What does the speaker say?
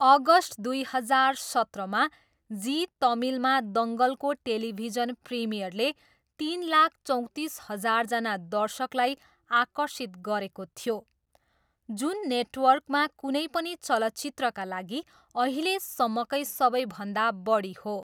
August दुई हजार सत्रमा जी तमिलमा दङ्गलको टेलिभिजन प्रिमियरले तिन लाख चौतिस हजारजना दर्शकलाई आकर्षित गरेको थियो, जुन नेटवर्कमा कुनै पनि चलचित्रका लागि अहिलेसम्मकै सबैभन्दा बढी हो।